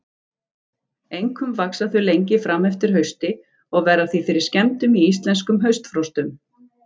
Einkum vaxa þau lengi fram eftir hausti og verða því fyrir skemmdum í íslenskum haustfrostum.